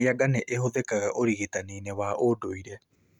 Mĩanga nĩ ũhũthikaga ũrigitani wa ũndũire